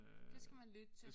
Det skal man lytte til